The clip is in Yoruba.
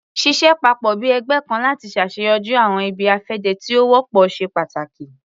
Ṣiṣẹ papọ bi ẹgbẹ kan lati ṣaṣeyọri awọn ibi-afẹde ti o wọpọ ṣe pàtàkì